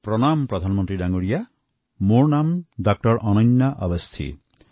প্ৰণাম প্ৰধানমন্ত্ৰীজী মোৰ নাম ডা০ অনন্যা আৱাস্থি